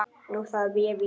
Nú þarf ég víst.